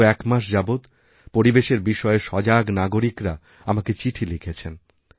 গত একমাস যাবৎপরিবেশের বিষয়ে সজাগ নাগরিকরা আমাকে চিঠি লিখেছেন